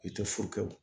I tɛ furukɛw